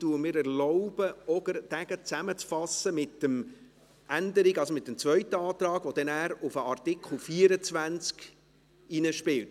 Ich erlaube mir, diesen zusammenzufassen mit dem zweiten Antrag, der dann in den Artikel 24 hineinspielt.